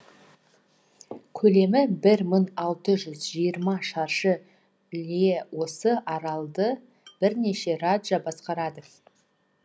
көлемі бір мың алты жүз жиырма шаршы лье осы аралды бірнеше раджа басқарады